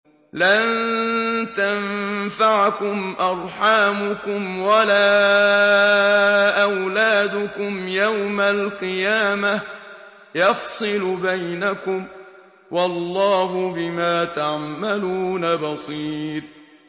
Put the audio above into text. لَن تَنفَعَكُمْ أَرْحَامُكُمْ وَلَا أَوْلَادُكُمْ ۚ يَوْمَ الْقِيَامَةِ يَفْصِلُ بَيْنَكُمْ ۚ وَاللَّهُ بِمَا تَعْمَلُونَ بَصِيرٌ